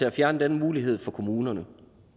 at fjerne den mulighed for kommunerne